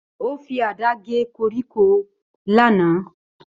Ó fi àdá gé koríko lánàá.